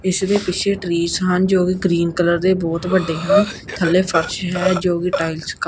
ਇੱਸ ਦੇ ਪਿੱਛੇ ਟ੍ਰੀਸ ਹਨ ਜੋ ਕਿ ਗ੍ਰੀਨ ਕਲਰ ਦੇ ਬੋਹੁਤ ਵੱਡੇ ਹਨ ਥੱਲੇ ਫ਼ਰਸ਼ ਹੈ ਜੋਕਿ ਟਾਈਲਸ ਕਾ --